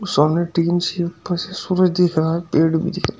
और सामने tin shed पर से सूरज दिख रहा है पेड़ भी दिख--